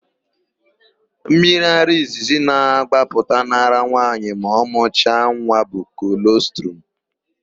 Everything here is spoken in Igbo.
Mmiriara izizi na-agbapụta n'ara nwaanyị ma ọ mụcha nwa bụ kolọstrum.